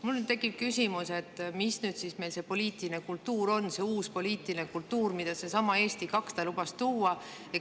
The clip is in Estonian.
Mul tekib küsimus, mis nüüd siis meil see poliitiline kultuur on, see uus poliitiline kultuur, mida seesama Eesti 200 lubas tuua.